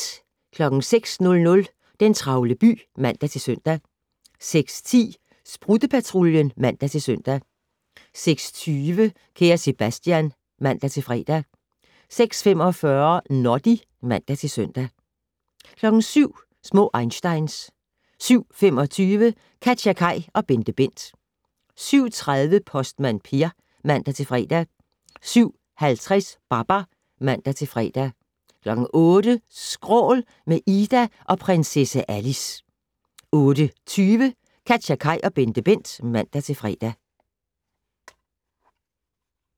06:00: Den travle by (man-søn) 06:10: Sprutte-Patruljen (man-søn) 06:20: Kære Sebastian (man-fre) 06:45: Noddy (man-søn) 07:00: Små einsteins 07:25: KatjaKaj og BenteBent 07:30: Postmand Per (man-fre) 07:50: Babar (man-fre) 08:00: Skrål - med Ida og prinsesse Alice 08:20: KatjaKaj og BenteBent (man-fre)